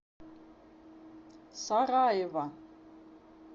сараева